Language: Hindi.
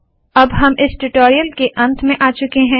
अब हम इस ट्यूटोरियल के अंत में आ चुके है